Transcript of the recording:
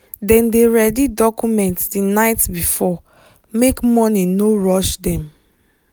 dem dey ready document the night before make morning no rush dem.